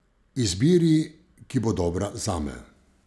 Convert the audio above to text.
Izbiri, ki bo dobra zame.